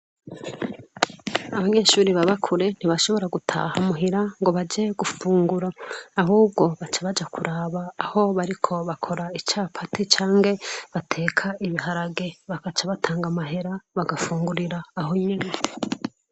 Abanyeshure babakure ntibashobora gutaha muhira ngobaje gufungura ahubwo baca baja kuraba aho bariko bako icapati canke bateka ibiharage bakacabatanga amahera bafungurire aho nyene.